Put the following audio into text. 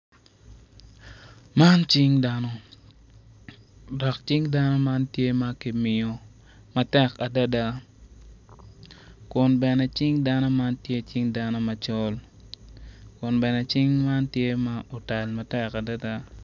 Man cing dano dok cing dano man tye ma kimiyo matek adada kun bene cing dano man tye cing dano macol kun bene cing man tye ma otal matek adada